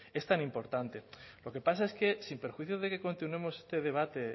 es tan importante lo que pasa es que sin perjuicio de que continuemos este debate